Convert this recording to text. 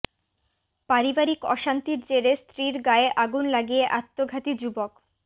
পারিবারিক অশান্তির জেরে স্ত্রীর গায়ে আগুন লাগিয়ে আত্মঘাতী যুবক